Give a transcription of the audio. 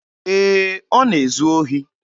Ee, ọ na-ezu ohi.